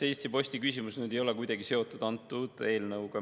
Eesti Posti küsimus ei ole kuidagi seotud antud eelnõuga.